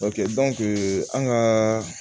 an kaaa